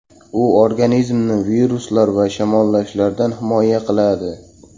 U organizmni viruslar va shamollashlardan himoya qiladi.